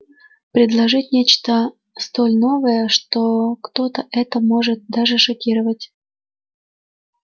предложить нечто столь новое что кто-то это может даже шокировать